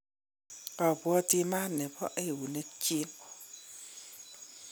abwoti maat nebo eunek chin